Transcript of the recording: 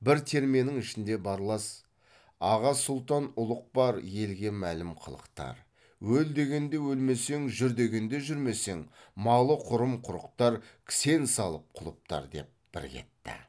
бір терменің ішінде барлас аға сұлтан ұлық бар елге мәлім қылықтар өл дегенде өлмесең жүр дегенде жүрмесең малы құрым құрықтар кісен салып құлыптар деп бір кетті